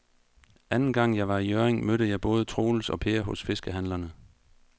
Anden gang jeg var i Hjørring, mødte jeg både Troels og Per hos fiskehandlerne.